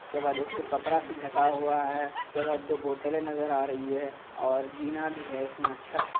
इसके बाद एक ठो कपड़ा से जता हुआ है। इसके बाद दो बोतलें नजर आ रही है और जीना भी है इसमें अच्छा है।